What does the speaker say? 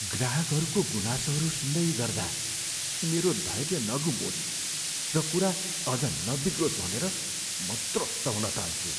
ग्राहकका गुनासोहरू सुन्दै गर्दा मेरो धैर्य नगुमोस् र कुरा अझ नबिग्रोस् भनेर म त्रस्त हुन थाल्छु।